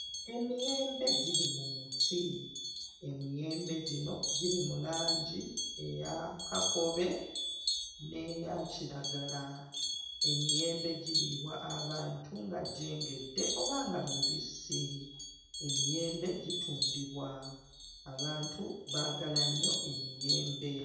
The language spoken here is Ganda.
Emiyembe giri mu muti, emiyembe gino giri mu langi eya kakobe n'eya kiragala, emiyembe giriibwa abantu nga gyengedde oba nga mibisi, emiyembe gitundibwa, abantu baagala nnyo emiyembe.